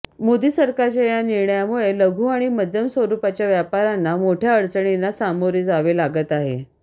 मोदी सरकारच्या या निर्णयामुळे लघु आणि मध्यम स्वरूपाच्या व्यापाऱ्यांना मोठ्या अडचणींना सामोरे जावे लागत आहे